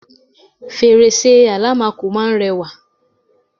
fèrèsé àlámakò máà ń rẹwà